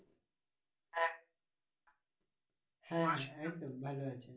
হ্যাঁ হ্যাঁ একদম ভালো আছি।